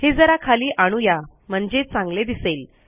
हे जरा खाली आणू या म्हणजे चांगले दिसेल